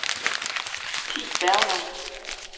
Thi Bergmann